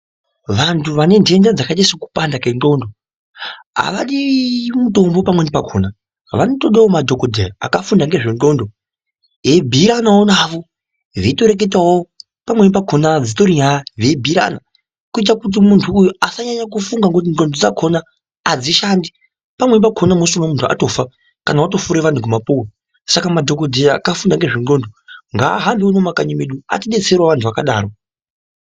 Vantu vane ndenda dzakaita seku panda kwe ndxondo avadi mutombo pamweni pakona vano todawo madhokodheya aka funda ngezve ndxondo eyi bhuyiranawo navo veito reketawo pamweni pakona dzitori nyaya vei bhuyirana kuita kuti muntu uyu asanyanya ku funga ngekuti ndxondo dzakona adzi shandi pamweni pakona musi muntu atofa kana wato sure vantu nge mapuwe saka madhokodheya akafunda ngezve ndxondo nga hambe uno ku makanyi edu ati detserewo vantu vakadaro.